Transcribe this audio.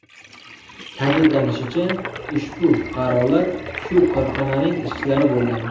Ta’kidlanishicha, ushbu fuqarolar shu korxonaning ishchilari bo‘lgan.